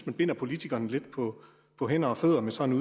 man binder politikerne lidt på hænder og fødder med sådan